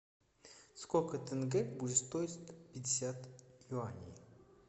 сколько тенге будет стоить пятьдесят юаней